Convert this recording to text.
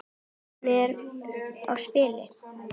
Hvernig á spila?